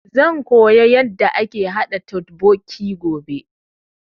Zan koya yanda ake haɗa totbokki gobe